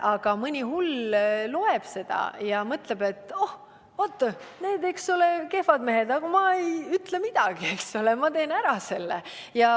Aga mõni hull loeb seda ja mõtleb, et oh, need on kehvad mehed, eks ole, aga ma ei ütle midagi, ma teen selle lihtsalt ära.